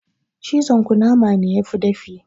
Cizon kunama ne yafi dafi